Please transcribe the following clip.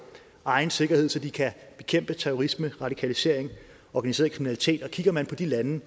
egen sikkerhed så de kan bekæmpe terrorisme radikalisering og organiseret kriminalitet kigger man på de lande